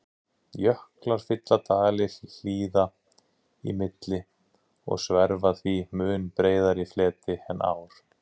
Jöklar fylla dali hlíða í milli og sverfa því mun breiðari fleti en ár.